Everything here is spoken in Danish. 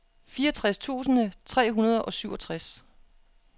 fireogtres tusind tre hundrede og syvogtres